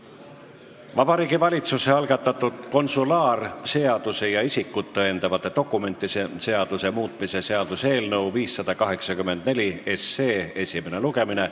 Vabariigi Valitsuse algatatud konsulaarseaduse ja isikut tõendavate dokumentide seaduse muutmise seaduse eelnõu 584 esimene lugemine.